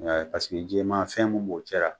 Paseke jɛman fɛn min b'o cɛra